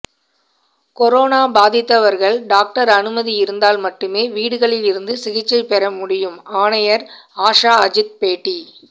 corona பாதித்தவர்கள் doctor அனுமதி இருந்தால் மட்டுமே வீடுகளில் இருந்து சிகிச்சை பெற முடியும் ஆணையர் ஆஷாஅஜித் பேட்டி